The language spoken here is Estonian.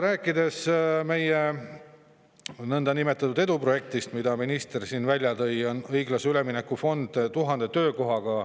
Räägime ka meie niinimetatud eduprojektist, mille minister siin välja tõi: õiglase ülemineku fond 1000 töökohaga.